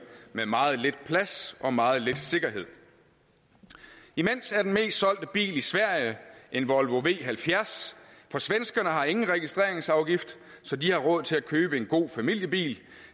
med meget lidt plads og meget lidt sikkerhed imens er den mest solgte bil i sverige en volvo v halvfjerds for svenskerne har ingen registreringsafgift så de har råd til at købe en god familiebil